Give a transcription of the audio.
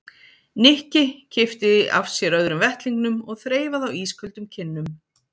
Nikki kippti af sér öðrum vettlingnum og þreifaði á ísköldum kinnum